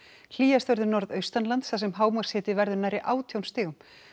hlýjast verður norðaustanlands þar sem hámarkshiti verður nærri átján stigum